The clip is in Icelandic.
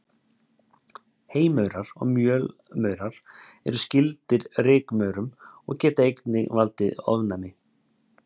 Heymaurar og mjölmaurar eru skyldir rykmaurum og geta einnig valdið ofnæmi.